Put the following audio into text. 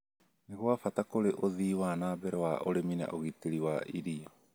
nĩ gwa bata kũrĩ ũthii wa na mbere wa ũrĩmi na ũgitĩri wa irio.